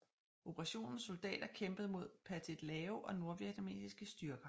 Operationens soldater kæmpede mod Pathet Lao og nordvietnamesiske styrker